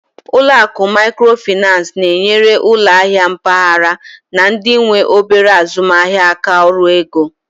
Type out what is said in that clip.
Ụlọ akụ Maikrofinan na-enyere ụlọ ahịa mpaghara na ndị nwe obere azụmaahịa aka ọrụ ego.